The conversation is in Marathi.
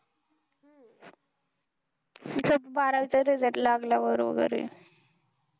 बारावी च result लागला बरोबर आहे